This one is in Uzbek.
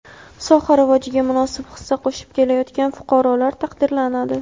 soha rivojiga munosib hissa qo‘shib kelayotgan fuqarolar taqdirlanadi.